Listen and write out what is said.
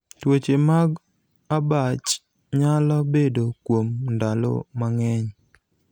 tuoche mag abach nyalo bedo kuom ndalo mang'eny